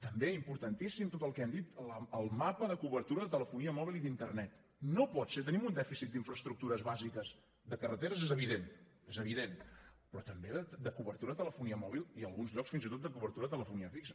també importantíssim tot el que hem dit el mapa de cobertura de telefonia mòbil i d’internet no pot ser tenim un dèficit d’infraestructures bàsiques de carreteres és evident és evident però també de cobertura de telefonia mòbil i en alguns llocs fins i tot de cobertura de telefonia fixa